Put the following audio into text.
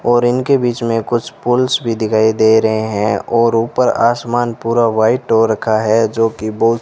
और इनके बीच में कुछ पोल्स भी दिखाई दे रहे हैं और ऊपर आसमान पूरा व्हाइट हो रखा है जो कि बहुत --